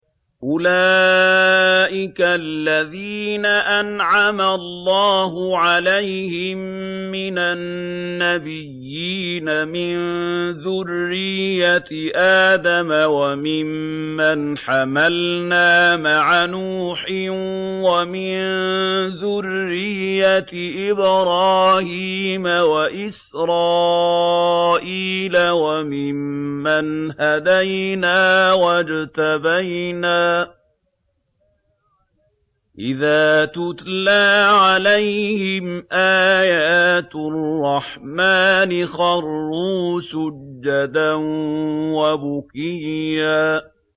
أُولَٰئِكَ الَّذِينَ أَنْعَمَ اللَّهُ عَلَيْهِم مِّنَ النَّبِيِّينَ مِن ذُرِّيَّةِ آدَمَ وَمِمَّنْ حَمَلْنَا مَعَ نُوحٍ وَمِن ذُرِّيَّةِ إِبْرَاهِيمَ وَإِسْرَائِيلَ وَمِمَّنْ هَدَيْنَا وَاجْتَبَيْنَا ۚ إِذَا تُتْلَىٰ عَلَيْهِمْ آيَاتُ الرَّحْمَٰنِ خَرُّوا سُجَّدًا وَبُكِيًّا ۩